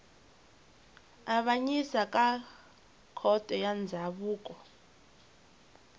avanyisa ka khoto ya ndzhavuko